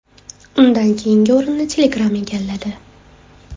Undan keyingi o‘rinni Telegram egalladi.